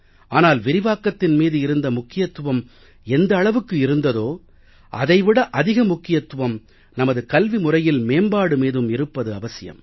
ஆனால் விரிவாக்கத்தின் மீது இருந்த முக்கியத்துவம் எந்த அளவுக்கு இருந்ததோ அதை விட அதிக முக்கியத்துவம் நமது கல்வி முறையில் மேம்பாடு மீதும் இருப்பது அவசியம்